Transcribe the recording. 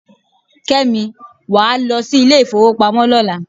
Kẹ́mi, wàá lọ sí ilé ifowopamo lọ́la.